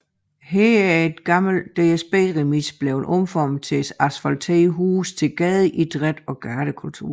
Her er en gammel DSB remise blevet omformet til et asfalteret hus til gadeidræt og gadekultur